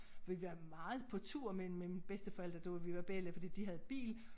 Vi har været meget på tur med mine bedsteforældre da vi var belli fordi de havde bil